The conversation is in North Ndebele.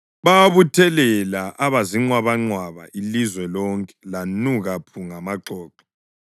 Bawabuthelela aba zinqwabanqwaba; ilizwe lonke lanuka phu ngamaxoxo.